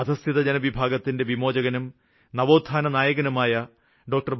അധസ്ഥിത ജനവിഭാഗത്തിന്റെ വിമോചകനും നവോത്ഥാന നായകനുമായ ഡോ